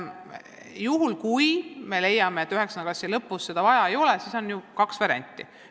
Juhul, kui leiame, et 9. klassi lõpus seda vaja ei ole, siis on ju kaks varianti.